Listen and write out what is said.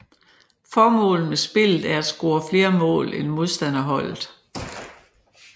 Formålet med spillet er at score flere mål end modstanderholdet